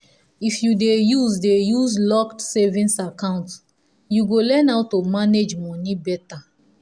if you dey use dey use locked savings account you go learn how to manage money better.